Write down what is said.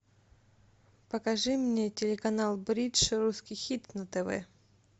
покажи мне телеканал бридж русский хит на тв